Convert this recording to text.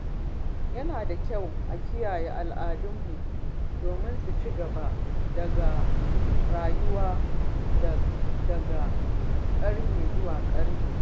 Yana da kyau a kiyaye al’adunmu domin su ci gaba da rayuwa daga ƙarni zuwa ƙarni.